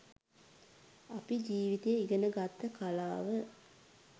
අපි ජිවිතය ඉගෙන ගත්ත කලාව